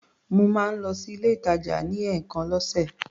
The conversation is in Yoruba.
Mo máa ń lọ sí ilé-ìtàjà ní ẹ̀ẹ̀kan lọ́sè.